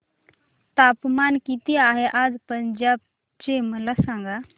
तापमान किती आहे आज पंजाब चे मला सांगा